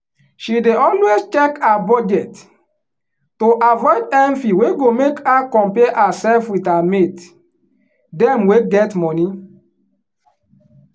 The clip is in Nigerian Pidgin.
she dey always check her budget to avoid envy wey go make her compare herself with her mate dem wey money.